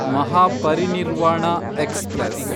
Mahaparinirvana express